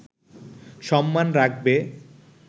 সম্মান রাখবে